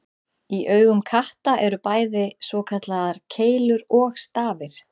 Í augum katta eru bæði svokallaðar keilur og stafir.